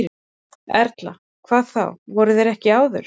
Erla: Hvernig þá, voru þeir það ekki áður?